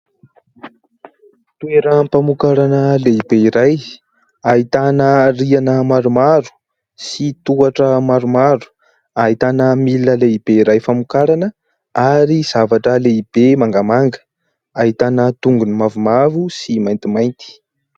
Toeram-pamokarana lehibe iray, ahitana rihana maromaro sy tohatra maromaro, ahitana milina lehibe iray famokarana ary zavatra lehibe mangamanga, ahitana tongony mavomavo sy maintimainty.